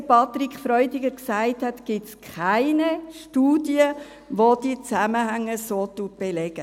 Wie Patrick Freudiger gesagt hat, gibt es Studie, welche die Zusammenhänge so belegt.